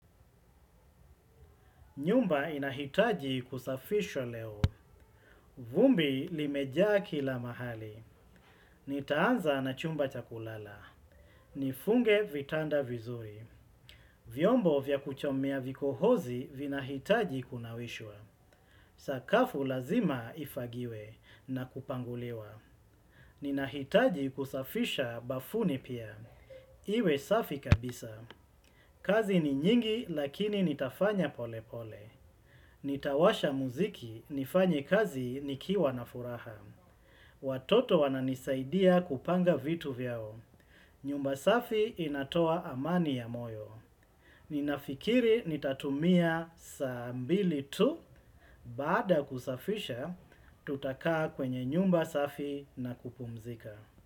Nyumba inahitaji kusafishwa leo. Vumbi limejaa kila mahali. Nitaanza na chumba cha kulala. Nifunge vitanda vizuri. Vyombo vya kuchomea vikohozi vinahitaji kunawishwa. Sakafu lazima ifagiwe na kupanguliwa. Ninahitaji kusafisha bafuni pia. Iwe safi kabisa. Kazi ni nyingi lakini nitafanya polepole. Nitawasha muziki, nifanye kazi nikiwa na furaha. Watoto wananisaidia kupanga vitu vyao. Nyumba safi inatoa amani ya moyo. Ninafikiri nitatumia saa mbili tu. Baada ya kusafisha, tutakaa kwenye nyumba safi na kupumzika.